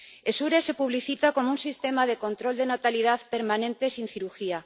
Essure se publicita como un sistema de control de natalidad permanente sin cirugía.